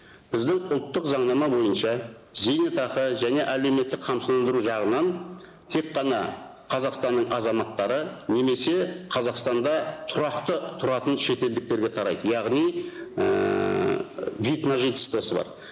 біздің ұлттық заңнама бойынша зейнетақы және әлеуметтік қамсыздандыру жағынан тек қана қазақстанның азаматтары немесе қазақстанда тұрақты тұратын шетелдіктерге тарайды яғни ііі вид на жительствосы бар